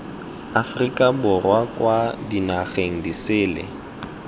aforika borwa kwa dinageng disele